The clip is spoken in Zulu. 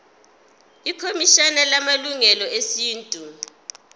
ikhomishana yamalungelo esintu